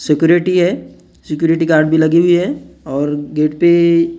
security है security card भी लगी हुई है और गेट पे कार खडि --